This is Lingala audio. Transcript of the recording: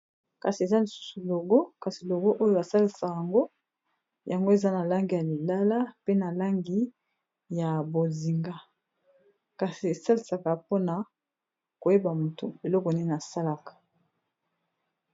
kasi eza nsusu logo kasi logo oyo basalisaka yango yango eza na langi ya lilala pe na langi ya bozinga kasi esalisaka mpona koyeba motu eloko nini asalaka